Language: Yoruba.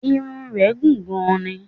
Irun rẹ̀ gùn gan ni